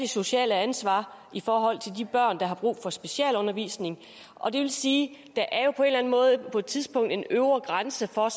socialt ansvar i forhold til de børn der har brug for specialundervisning og det vil sige at måde på et tidspunkt er en øvre grænse for